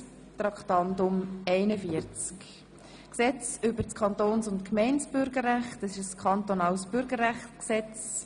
Traktandum 41, Gesetz über das Kantons- und Gemeindebürgerrecht (KBüG): Das ist ein kantonales Bürgerrechtsgesetz.